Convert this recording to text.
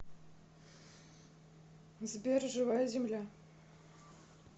сбер живая земля